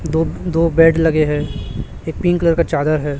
दो बेड लगे हैं एक पिंक कलर का चादर है।